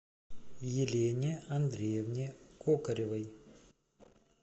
елене андреевне кокоревой